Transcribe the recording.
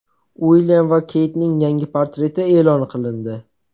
Uilyam va Keytning yangi portreti e’lon qilindi.